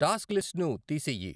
Task లిస్ట్ను తీసెయ్యి.